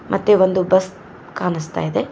ಮತ್ತೆ ಒಂದು ಬಸ್ ಕಾನಸ್ತಾ ಇದೆ.